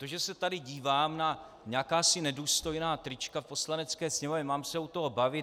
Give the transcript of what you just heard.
To, že se tady dívám na jakási nedůstojná trička v Poslanecké sněmovně - mám se u toho bavit?